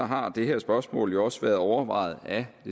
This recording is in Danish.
har det her spørgsmål også været overvejet af